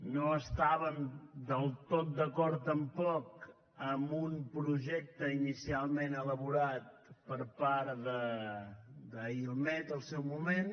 no estàvem del tot d’acord tampoc amb un projecte inicialment elaborat per part d’ailmed al seu moment